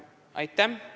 Aitäh!